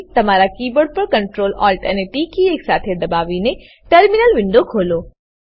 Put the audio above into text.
તમારા કીબોર્ડ પર Ctrl Alt અને ટી કી એકસાથે દબાવીને ટર્મિનલ વિન્ડો ખોલો